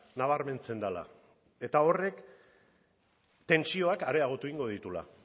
nabarmentzen dela eta horrek tentsioak areagotu egingo dituela